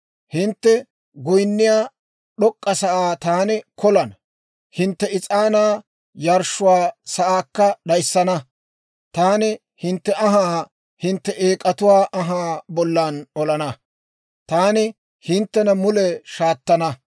Hintte goynniyaa d'ok'k'a sa'aa taani kolana; hintte is'aanaa yarshshiyaa sa'aakka d'ayssana. Taani hintte anhaa hintte eek'atuwaa anhaa bollan olana; taani hinttena mule shaataanna.